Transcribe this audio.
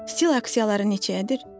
Stil aksiyaları neçəyədir?